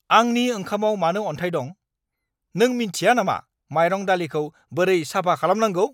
आंनि ओंखामआव मानो अनथाय दं? नों मिन्थिया नामा मायरं-दालिखौ बोरै साफा खालामनांगौ!